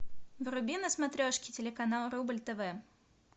вруби на смотрешке телеканал рубль тв